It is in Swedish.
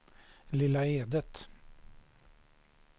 Lilla Edet